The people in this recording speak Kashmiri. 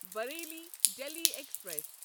بریلی دِلی ایکسپریس